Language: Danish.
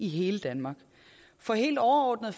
i hele danmark for helt overordnet